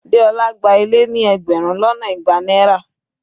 Deola gba ilé ní ẹgbẹrun lọ́nà igba náírà.